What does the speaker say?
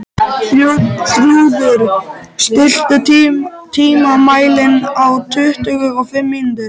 Þrúður, stilltu tímamælinn á tuttugu og fimm mínútur.